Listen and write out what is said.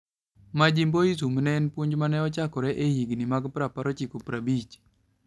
"Majimboism ne en puonj ma ne ochakore e higini mag 1950.